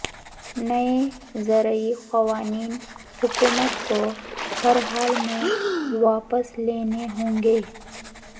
نئے زرعی قوانین حکومت کو ہر حال میں واپس لینے ہونگے